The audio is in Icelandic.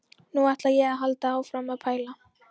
Nú ætla ég að halda áfram að pæla.